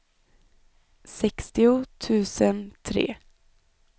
sextio tusen tre